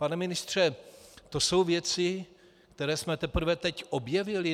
Pane ministře, to jsou věci, které jsme teprve teď objevili?